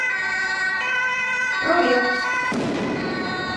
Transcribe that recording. провет